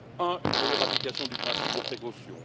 Un, une meilleure application du principe de précaution.